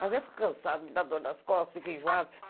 Mas eu fico cansada, me dá dor nas costas, fico enjoada.